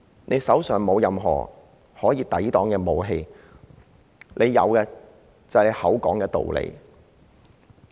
他手上沒有任何可以用作抵擋襲擊的武器，有的只是道理。